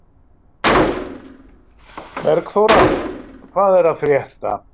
Bergþóra, hvað er að frétta?